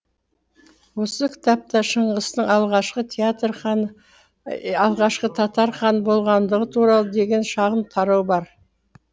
осы кітапта шыңғыстың алғашқы татар ханы болғандығы туралы деген шағын тарау бар